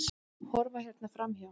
Horfa hérna framhjá!